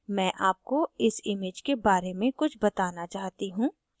मैं आपको इस image के बारे में कुछ बताना चाहती हूँ